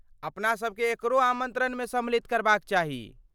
अपना सभकेँ एकरो आमन्त्रणमे सम्मिलित करबाक चाही।